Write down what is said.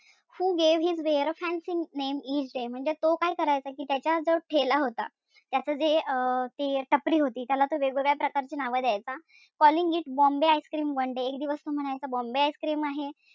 Who gave his ware a fancy name each day म्हणजे तो काय करायचा कि त्याचा जो ठेला होता त्याच जे अं ते टपरी होती त्याला तो वेगवेगळ्या प्रकारची नाव द्यायचा. Calling it bombay ice cream one day एक दिवस तो म्हणायचा bombay ice cream आणि,